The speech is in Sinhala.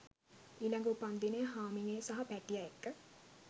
ඊලඟ උපන්දිනය හාමිනේ සහ පැටිය එක්ක